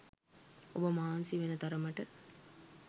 ඔබ මහන්සි වෙන තරමට